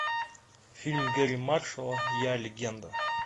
фильм гэри маршала я легенда